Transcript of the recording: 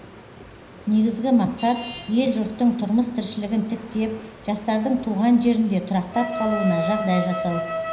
негізігі мақсат ел жұрттың тұрмыс тіршілігін тіктеп жастардың туған жерінде тұрақтап қалуына жағдай жасау